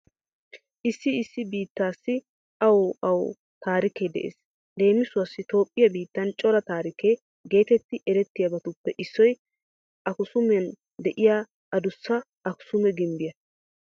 Issi issi biittaassi awu awu a taarikee de'ees. Leemisuwassi Toophphiya biittan cora taarike geetetti erettiyabatuppe issoy Akisuumen de'iya adussa Akisuume gimbbiya.